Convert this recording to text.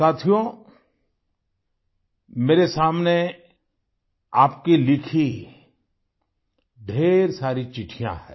साथियो मेरे सामने आपकी लिखी ढ़ेर सारी चिट्ठियाँ हैं